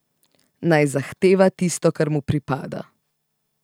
Naj zahteva tisto kar mu pripada.